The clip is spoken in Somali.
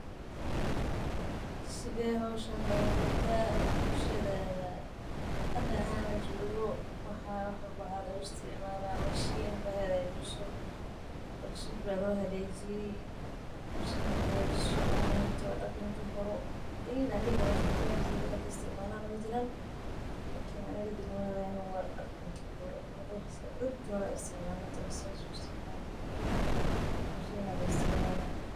Sithe lga qabtaa bulshaadada hada lajogo mashinaya hagajiso waxan waa dihi kara dadki hire aya istimali jire anaga dagmadeyna wax isticmalo majiro lakin dad isticmalo aya jira.